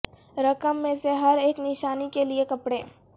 رقم میں سے ہر ایک نشانی کے لئے کپڑے